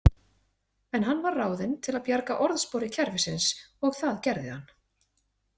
En hann var ráðinn til að bjarga orðspori kerfisins og það gerði hann.